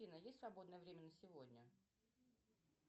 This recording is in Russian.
афина есть свободное время на сегодня